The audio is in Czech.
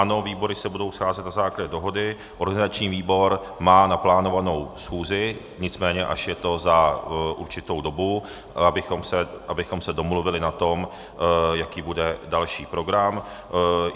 Ano, výbory se budou scházet na základě dohody, organizační výbor má naplánovanou schůzi, nicméně je to až za určitou dobu, abychom se domluvili na tom, jaký bude další program.